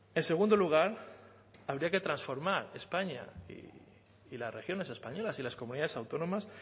en segundo lugar habría que transformar españa y las regiones españolas y las comunidades autónomas